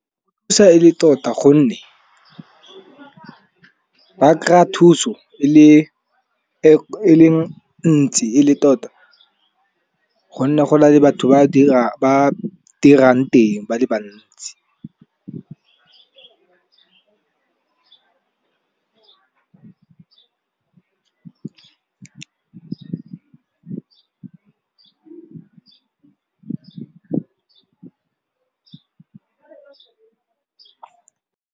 e le tota gonne, ba kry-a thuso e leng ntsi e le tota gonne go na le batho ba dirang teng ba le bantsi.